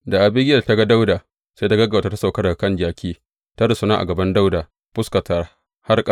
Da Abigiyel ta ga Dawuda, sai ta gaggauta ta sauka daga kan jaki, ta rusuna a gaban Dawuda da fuskarta har ƙasa.